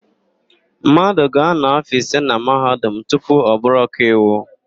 Mmadụ ga-ánọ̀ áfọ̀ ise na Mahadum tupu ọ bụrụ ọkaiwu.